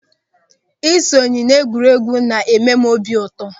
Ị sonye n'egwuregwu na-eme m obi ụtọ.